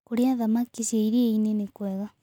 Kũrĩa thamakĩ cia ĩrĩanĩ nĩkwega